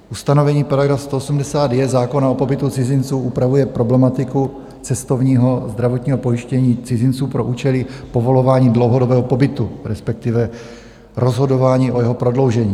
Ustanovení § 180j zákona o pobytu cizinců upravuje problematiku cestovního zdravotního pojištění cizinců pro účely povolování dlouhodobého pobytu, respektive rozhodování o jeho prodloužení.